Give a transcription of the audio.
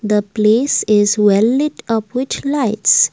the place is well it of which lights.